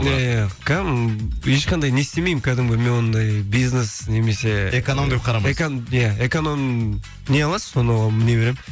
иә иә ешқандай не істемеймін кәдімгі мен ондай бизнес немесе эконом деп қарамайсыз иә эконом не аласыз соны міне беремін